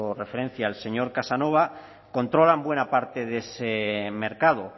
referencia el señor casanova controlan buena parte de ese mercado